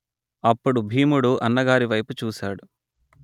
అప్పుడు భీముడు అన్నగారి వైపు చూసాడు